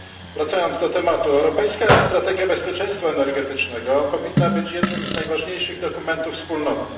Wracając do tematu, europejska strategia bezpieczeństwa energetycznego powinna być jednym z najważniejszych dokumentów Wspólnoty.